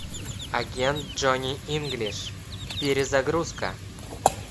агент джонни инглиш перезагрузка